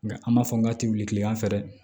Nga an b'a fɔ n ka te wuli kiliyan fɛ dɛ